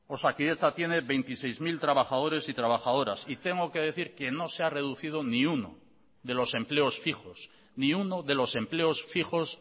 osakidetza tiene veintiséis mil trabajadores y trabajadoras y tengo que decir que no se ha reducido ni uno de los empleos fijos